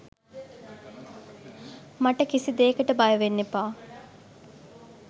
මට කිසිදේකට බය වෙන්න එපා